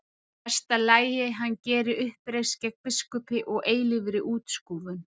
Í mesta lagi hann geri uppreisn gegn biskupi og eilífri útskúfun.